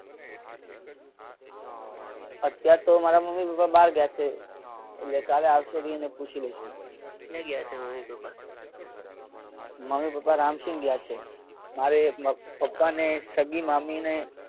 અત્યારતો મારા મમ્મી પપ્પા બહાર ગયા છે એટલે કાલે આવશે એટલે પૂછી લઈશું. ક્યાં ગયા છે મમ્મી પપ્પા. મમ્મી પપ્પા રામક્ષિણ ગયા છે. મારે પપ્પા ને સગી મામી ને.